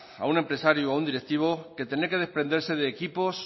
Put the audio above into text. a un empresario o un directivo que tener que desprenderse de equipos